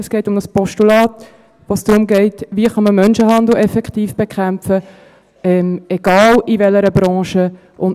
Es geht um ein Postulat, bei dem es darum geht, wie man Menschenhandel effektiv bekämpfen kann, egal in welcher Branche –;